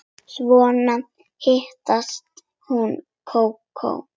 Svo hitaði hún kakó.